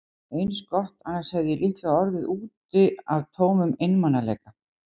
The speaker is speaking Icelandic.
Eins gott, annars hefði ég líklega orðið úti af tómum einmanaleika.